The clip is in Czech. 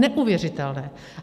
Neuvěřitelné.